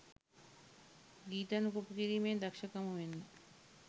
ගීතනු copy කිරීමේ දක්ෂකම වෙන්නෙ